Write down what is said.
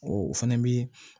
O fɛnɛ bi